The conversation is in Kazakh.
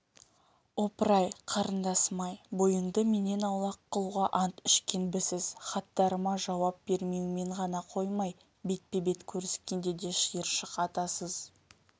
опыр-ай қарындасым-ай бойыңды менен аулақ қылуға ант ішкенбісіз хаттарыма жауап бермеумен ғана қоймай бетпе-бет көріскенде де шиыршық атасыз